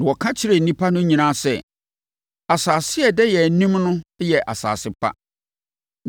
na wɔka kyerɛɛ nnipa no nyinaa sɛ, “Asase a ɛda yɛn anim no yɛ asase pa.